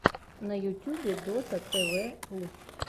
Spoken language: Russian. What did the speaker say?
на ютьюбе дотатэвэру